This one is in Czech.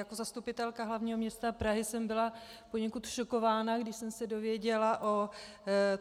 Jako zastupitelka hlavního města Prahy jsem byla poněkud šokována, když jsem se dozvěděla o